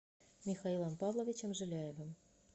михаилом павловичем жиляевым